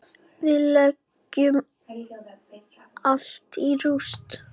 Við leggjum allt í rúst.